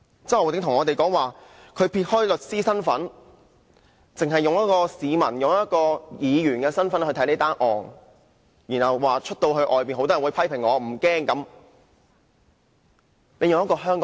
周浩鼎議員表示他撇開律師的身份，只是以市民、議員的身份來看這宗案件，又說即使街上被多人批評也不害怕。